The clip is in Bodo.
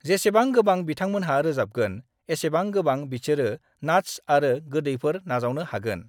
जेसेबां गोबां बिथांमोनहा रोजाबगोन, एसेबां गोबां बिसोरो नात्स आरो गोदैफोर नाजावनो हागोन।